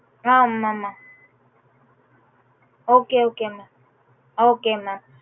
ஆஹ் ஆமா ஆமா okay okay mam okay mam